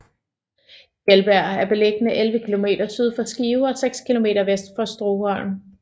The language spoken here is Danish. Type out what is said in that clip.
Kjeldbjerg er beliggende 11 kilometer syd for Skive og seks kilometer vest for Stoholm